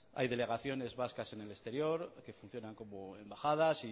hay delegaciones vascas en el exterior que funcionan como embajadas